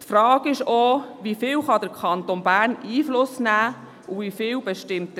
Die Frage ist auch, wie viel der Kanton Bern Einfluss nehmen kann und wie viel Herr Wyss bestimmt.